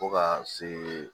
Fo ka se